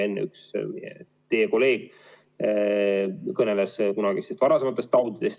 Enne ka üks teie kolleeg kõneles kunagistest taudidest.